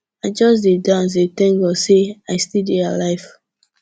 i just dey dance dey thank god say i still dey alive